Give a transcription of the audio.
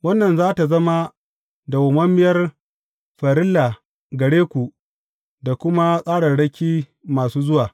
Wannan za tă zama dawwammamiyar farilla gare ku da kuma tsararraki masu zuwa.